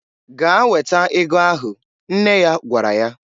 "Gaa weta ego ahụ!" nne ya gwara ya.